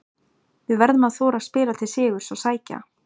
Við verðum að þora að spila til sigurs og sækja.